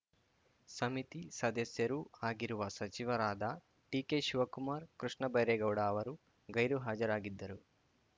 ಸಮಿತಿ ಸದಸ್ಯರೂ ಆಗಿರುವ ಸಚಿವರಾದ ಡಿಕೆ ಶಿವಕುಮಾರ್ ಕೃಷ್ಣಬೈರೇಗೌ‌ಡ ಅವರು ಗೈರುಹಾಜರಾಗಿದ್ದರು